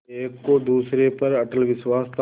एक को दूसरे पर अटल विश्वास था